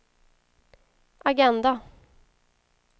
agenda